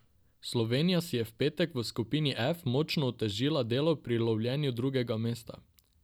Slovenija si je v petek v skupini F močno otežila delo pri lovljenju drugega mesta.